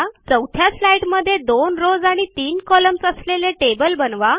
चौथ्या स्लाईडमध्ये 2 रॉव्स आणि 3 कॉलम्न्स असलेले टेबल बनवा